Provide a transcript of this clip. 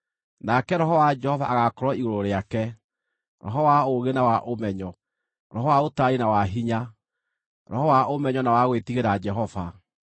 Nake Roho wa Jehova agaakorwo igũrũ rĩake: Roho wa ũũgĩ na wa ũmenyo, Roho wa ũtaarani na wa hinya, Roho wa ũmenyo na wa gwĩtigĩra Jehova: